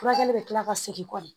Furakɛli bɛ kila ka segin kɔni